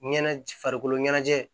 Ɲɛnajɛ farikolo ɲɛnajɛ